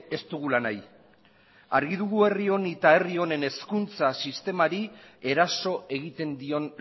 ez dugula nahi argi dugu herri honi eta herri honen hezkuntza sistemari eraso egiten dion